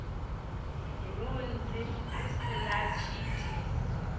lunzhi hu si na tshiitisi